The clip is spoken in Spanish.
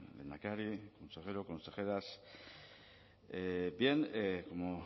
lehendakari consejero consejeras bien como